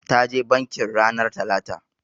Ta je bankin ranar talata.